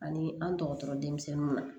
Ani an tɔgɔ denmisɛnninw na